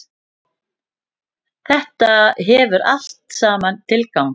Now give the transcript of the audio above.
Þetta hefur allt saman tilgang.